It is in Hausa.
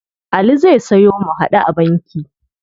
Ali zai sayo mu-haɗu-a-banki.